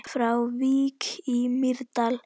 Frá Vík í Mýrdal